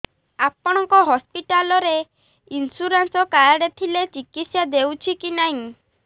ଆପଣଙ୍କ ହସ୍ପିଟାଲ ରେ insurance card ଥିଲେ ଚିକିତ୍ସା ହେଉଛି କି ନାଇଁ